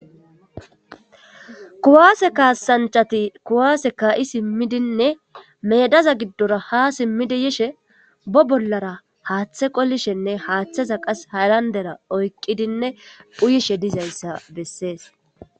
kuwaase kaasanchati kuwaase ka7i simmidinne medaza giddora ha simmidi yishe bo bollara haaththe qolishenne haaththeza qas halandera oykqidinne phuyishe dizayssa bessees